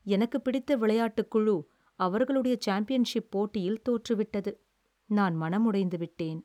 எனக்குப் பிடித்த விளையாட்டுக் குழு அவர்களுடைய சாம்பியன்ஷிப் போட்டியில் தோற்று விட்டது, நான் மனம் உடைந்துவிட்டேன்.